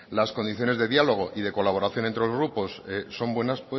las condiciones de diálogo y de colaboración entre los grupos son buenas